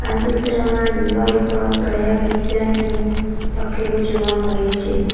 આ ચિત્રમાં દિવાલ પર પ્રયાગ કિચન એવું લખેલું જોવા મળે છે.